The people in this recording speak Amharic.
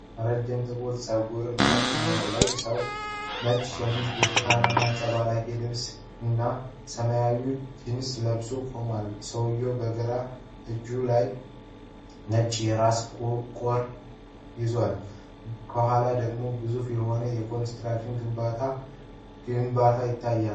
ረጅም ጥቁር ፀጉርና ጢም ያለው ሰው ነጭ ሸሚዝ፣ ብርቱካናማ አንጸባራቂ ልብስ (vest) እና ሰማያዊ ጂንስ ለብሶ ቆሟል። ሰውየው በግራ እጁ ነጭ የራስ ቁር (helmet) ይዟል፤ ከኋላው ደግሞ ግዙፍ የሆነ የኮንክሪት ግድብ ግንባታ ይታያል።